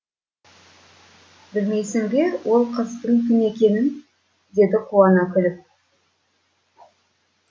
білмейсің бе ол қыздың кім екенін деді қуана күліп